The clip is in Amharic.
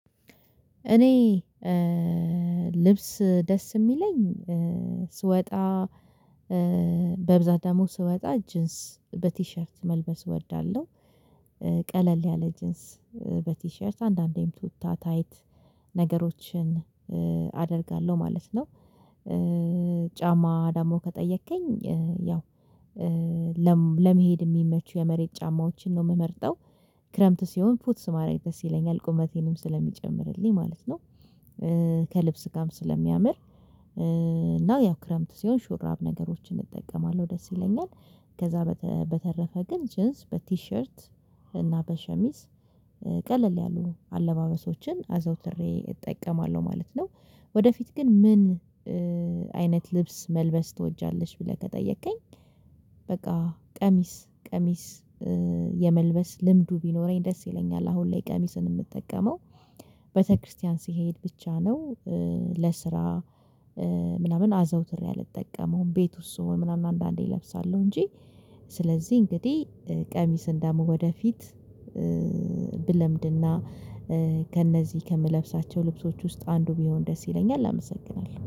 እኔ ልብስ ደስ የሚለኝ ስወጣ በብዛት ደግሞ ስወጣ ጂንስ በቲሸርት መልበስ እወዳለሁ ቀለል ያለ ጂንስ በቲሸርት አንዳንዴም ቱታ ታይት ነገሮችን አደርጋለሁ ማለት ነው። ጫማ ደግሞ ከጠየከኝ ያው ለመሄድ የሚመቹ የመሬት ጫማዎችን ነው የምመርጠው። ክረምት ሲሆን ፉትስ ማረግ ደስ ይለኛል ቁመቴንም ስለሚጨምርልኝ ማለት ነው። ከልብስ ጋም ስለሚያምር እና ያው ክረምት ሲሆን ሹራብ ነገሮችን እጠቀማለሁ ደስ ይለኛል። ከዛ በተረፈ ግን ጅንስ በቲሸርት እና በሸሚዝ ቀለል ያሉ አለባበሶችን አዘውትሬ እጠይቀማለሁ ማለት ነው። ወደፊት ግን ምን አይነት ልብስ መልበስ ትወጃለሽ ብለህ ከጠየከኝ። በቃ ቀሚስ ቀሚስ የመልበስ ልምዱ ቢኖረኝ ደስ ይለኛል አሁን ላይ ቀሚስን የምጠቀመው ቤተክርስቲያን ሲሄድ ብቻ ነው። ለስራ ምናምን አዘውትሬ አልጠቀመውም ቤት ውስጥ ስሆን ምናምን አንዳንዴ እለብሳለሁ እንጂ። ስለዚህ እንግዲህ ቀሚስን ደሞ ወደፊት ብለምድና ከእነዚህ ከምለብሳቸው ልብሶች ውስጥ አንዱ ቢሆን ደስ ይለኛል አመሰግናለሁ